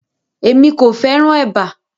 Emi ko fẹràn èbá.